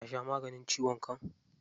Ta sha maganin ciwon kai.